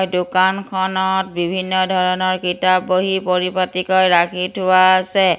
দোকানখনত বিভিন্ন ধৰণৰ কিতাপ বহী পৰিপাটিকৈ ৰাখি থোৱা আছে।